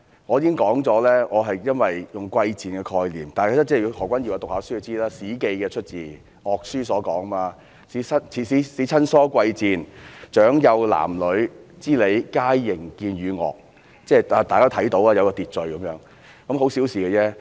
我已經說過，我是用了"貴賤"的概念，何君堯議員念過書便知道，這是出自《史記.樂書》："使親疏貴賤長幼男女之理皆形見予樂"，即是大家都看到，有一個秩序，只是很小事。